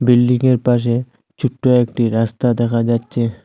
বিল্ডিংয়ের পাশে ছুট্ট একটি রাস্তা দেখা যাচ্ছে।